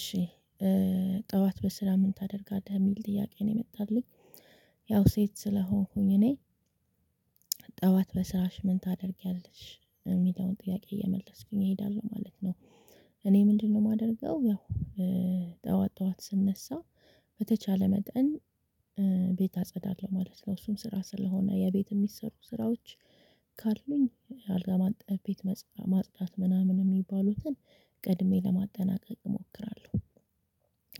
እሺ ጠዋት በስራ ምን ታደርጋለህ? የሚል ጥያቄ ነው የመጣልኝ። ያው ሴት ስለሆንኩኝ እኔ ጠዋት በስራሽ ምን ታደርጊያለሽ የሚለውን ጥያቄ እየመለስኩኝ እሄዳለሁ ማለት ነው። እኔ ምንድነው ማደርገው ያው ጠዋት ጠዋት ስነሳ በተቻለ መጠን ቤት አጸዳለሁ ማለት ነው። እሱም ስራ ስለሆነ የቤት የሚሰሩ ስራዎች ካሉኝ አልጋ ማንጠፍ ቤት ማጽዳት ምናምን ሚባሉትን ቀድሜ ለማጠናቀቅ እሞክራለሁ።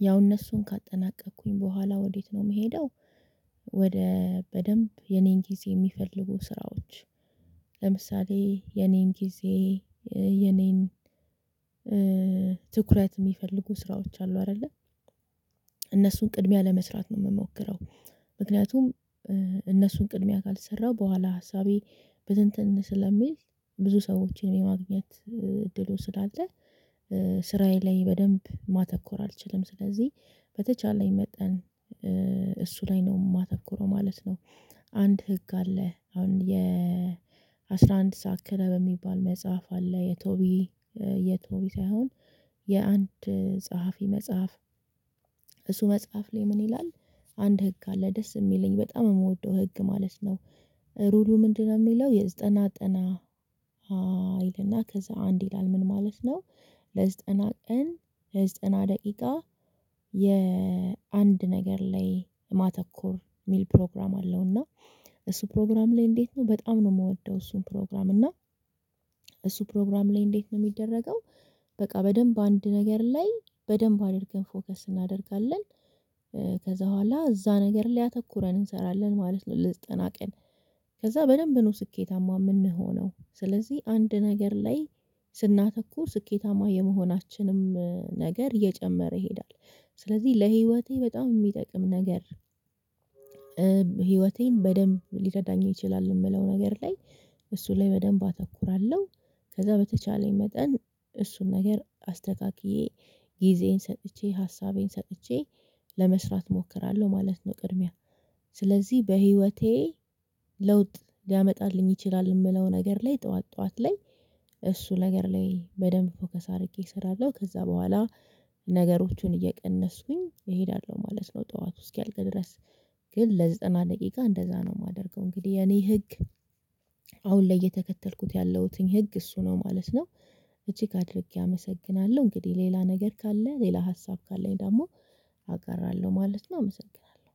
ያው እነሱን ካጠናቀኩኝ በኋላ ወዴት ነው ምሄደው ወደ በደንብ የኔን ጊዜ ሚፈልጉ ስራዎች ለምሳሌ የኔን ጊዜ የኔን ትኩረት ሚፈልጉ ስራዎች አሉ አይደለ እነሱን ቅድሚያ ለመስራት ነው ምሞክረው። ምክንያቱም እነሱን ቅድሚያ ካልሰራው በኋላ ሀሳቤ በትንትን ስለሚል ብዙ ሰዎችን የማግኘት እድሉ ስላለ ስራዬ ላይ በደንብ ማተኮር አልችልም። ስለዚህ በተቻለኝ መጠን እሱ ላይ ነው ማተኩረው ማለት ነው። አንድ ህግ አለ። አሁን የአስራ አንድ ሰዓት ክለብ የሚባል መጽሐፍ አለ የቶቢ የቶቢ ሳይሆን የአንድ ጸሐፊ መጽሐፍ እሱ መጽሐፍ ላይ ምን ይላል? አንድ ህግ አለ ደስ ሚለኝ በጣም የምወደው ህግ ማለት ነው። ሩሉ ምንድነው ሚለው? የዘጠና ጠና ይልና ከዛ አንድ ይላል ምን ማለት ነው ለዘጠና ቀን ዘጠና ደቂቃ የአንድ ነገር ላይ ማተኮር ሚል ፕሮግራም አለውና ፕሮግራም ላይ እንዴት ነው በጣም ነው ምወደው እሱን ፕሮግራም እና እሱ ፕሮግራም ላይ እንዴት ነው ሚደረገው? በቃ በደንብ አንድ ነገር ላይ በደንብ አድርገን ፎከስ እናደርጋለን ከዛ ኋላ እዛ ነገር ላይ አተኩረን እንሰራለን ማለት ነው ለዘጠና ቀን። ከዛ በደንብ ነው ስኬታማ ምንሆነው። ስለዚህ አንድ ነገር ላይ ስናተኩ ስኬታማ የመሆናችንም ነገር እየጨመረ ይሄዳል። ስለዚህ ለህይወቴ በጣም ሚጠቅም ነገር ህይወቴን በደንብ ሊረዳኝ ይችላል የምለው ነገር ላይ እሱ ላይ በደንብ አተኩራለሁ። ከዛ በተቻለኝ መጠን እሱን ነገር አስተካክዬ ጊዜዬን ሰጥቼ ሀሳቤን ሰጥቼ ለመስራት እሞክራለሁ ማለት ነው ቅድሚያ ስለዚህ በህይወቴ ለውጥ ሊያመጣልኝ ይችላል የምለው ነገር ላይ ጠዋት ጠዋት ላይ እሱ ነገር ላይ በደንብ ፎከስ አድርጌ እሰራለሁ ከዛ በኋላ ነገሮቹን እየቀነስኩኝ እሄዳለሁ ማለት ነው ጠዋቱ እስኪያልቅ ድረስ። ግን ለዘጠና ደቂቃ እንደዛ ነው ማደርገው። እንግዲህ የኔ ህግ አሁን ላይ እየተከተልኩት ያለሁትኝ ህግ እሱ ነው ማለት ነው። እጅግ አድርጌ አመሰግናለሁ! እንግዲህ ሌላ ነገር ካለ ሌላ ሀሳብ ካለኝ ደግሞ አቀርባለሁ ማለት ነው አመሰግናለሁ!